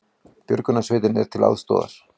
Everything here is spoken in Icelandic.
Björgunarsveitir til aðstoðar